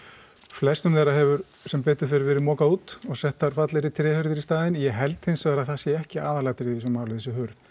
flestum þeirra hefur sem betur fer verið mokað út og settar fallegri tréhurðir í staðinn ég held hins vegar að það sé ekki aðalatriðið í þessu máli þessi hurð